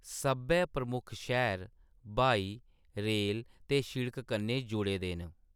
सब्भै प्रमुक्ख शैह्‌र ब्हाई, रेल ते सिड़क कन्नै जुड़े दे न।